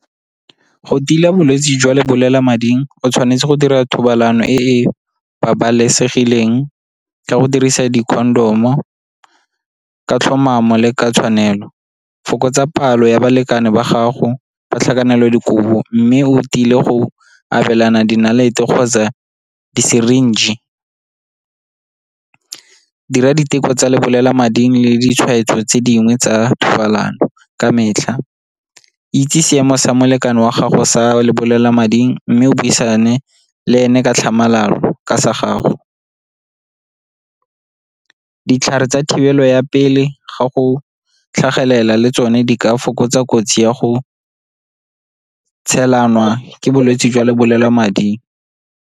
Go tila bolwetse jwa lebolelamading o tshwanetse go dira thobalano e e babalesegileng ka go dirisa di-condom-o ka tlhomamo le ka tshwanelo, fokotsa palo ya balekane ba gago ba tlhakanelodikobo mme o tile go abelana di nnalete kgotsa di-syringe. Dira diteko tsa lebolelamading le ditshwaetso tse dingwe tsa thobalano ka metlha, itse seemo sa molekane wa gago sa lebolelamading mme o buisane le ene ka tlhamalalo ka sa gago. Ditlhare tsa thibelo ya pele ga go tlhagelela le tsone di ka fokotsa kotsi ya go tshelanwa ke bolwetse jwa lebolelamading.